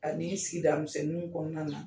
Ani sigidamisɛniw kɔnɔna na.